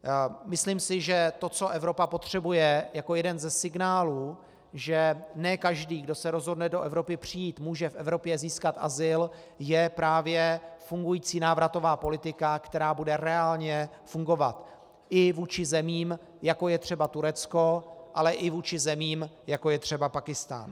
Myslím si, že to, co Evropa potřebuje jako jeden ze signálů, že ne každý, kdo se rozhodne do Evropy přijít, může v Evropě získat azyl, je právě fungující návratová politika, která bude reálně fungovat i vůči zemím, jako je třeba Turecko, ale i vůči zemím, jako je třeba Pákistán.